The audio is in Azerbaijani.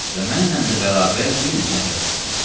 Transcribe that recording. Və mənlə də bərabər bir neçə nəfər çıxdı.